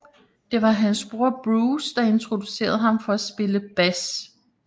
Det var hans bror Bruce der introducerede ham for at spille bas